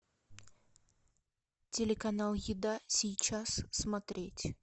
телеканал еда сейчас смотреть